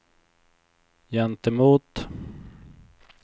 gentemot